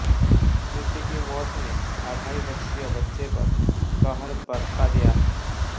प्रीति की मौत ने अढ़ाई वर्षीय बच्चे पर कहर बरपा दिया है